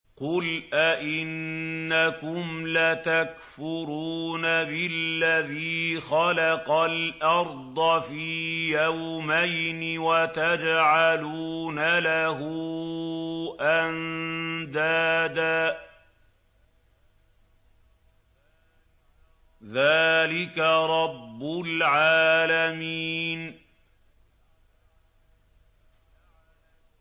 ۞ قُلْ أَئِنَّكُمْ لَتَكْفُرُونَ بِالَّذِي خَلَقَ الْأَرْضَ فِي يَوْمَيْنِ وَتَجْعَلُونَ لَهُ أَندَادًا ۚ ذَٰلِكَ رَبُّ الْعَالَمِينَ